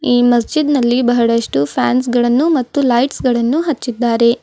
ಈ ಮಜೀದ್ ನಲ್ಲಿ ಬಹಳಷ್ಟು ಫ್ಯಾನ್ಸ್ ಗಳುನ್ನು ಲೈಟ್ಸ್ ಗಳನ್ನು ಹಚ್ಚಿದ್ದಾರೆ.